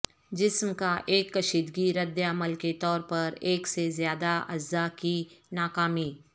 جسم کا ایک کشیدگی رد عمل کے طور پر ایک سے زیادہ اعضاء کی ناکامی